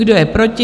Kdo je proti?